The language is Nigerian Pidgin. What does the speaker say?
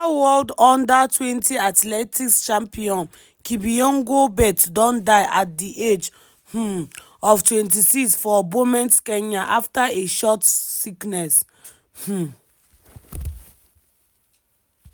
former world under-20 athletics champion kipyegon bett don die at di age um of 26 for bomet kenya after a short sickness. um